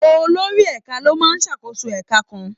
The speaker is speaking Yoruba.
Olórí ẹ̀ka ló máa ń ṣàkóso ẹka kan.